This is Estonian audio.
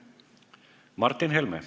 Martin Helme.